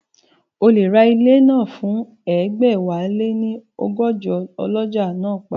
O lè ra ilẹ̀ náà fún ẹgbẹ̀wáléní ọgọ́jọ, ọlọ́jà náà pariwo